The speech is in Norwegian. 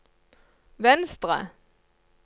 venstre